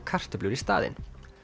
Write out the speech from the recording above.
kartöflur í staðinn